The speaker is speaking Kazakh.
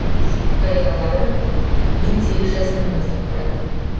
хикаяларын мен сегіз жасымнан бастап қарадым